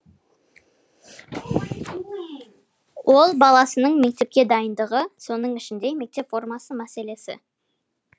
ол баласының мектепке дайындығы соның ішінде мектеп формасы мәселесі